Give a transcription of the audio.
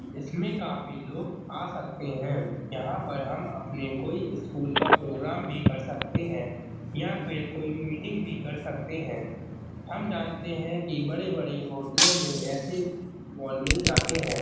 इसमें काफी लोग आ सकते हैं। यहाँ पर हम अपने कोई स्कूल का प्रोग्राम भी कर सकते है। यहाँ पे कोई मीटिंग भी कर सकते है। हम जानते है कि बड़े बड़े होटलों में ऐसे वॉल मिल जाते है।